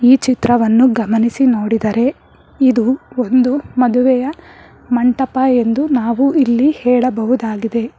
ಈ ಚಿತ್ರವನ್ನು ಗಮನಿಸಿ ನೋಡಿದರೆ ಇದು ಒಂದು ಮದುವೆಯ ಮಂಟಪ ಎಂದು ನಾವು ಇಲ್ಲಿ ಹೇಳಬಹುದಾಗಿದೆ.